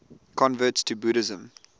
converts to buddhism